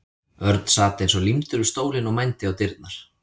Örn sat eins og límdur við stólinn og mændi á dyrnar.